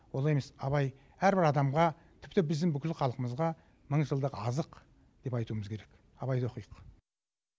олай емес абай әрбір адамға тіпті біздің бүкіл халқымызға мың жылдық азық деп айтуымыз керек абайды оқиық